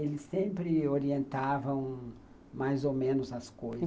Eles sempre orientavam mais ou menos as coisas.